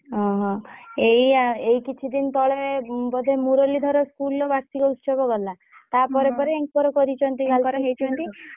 ଓହୋ! ଏଇ ଆ ଏଇ କିଛି ଦିନ ତଳେ ବୋଧେ ମୂରଲୀ ଧର school ରେ ବାର୍ଷିକ ଉତ୍ସବ ଗଲା ତାପରେ ପରେ ଆଙ୍କର କରିଛନ୍ତି